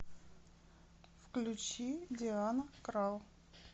включи диана крал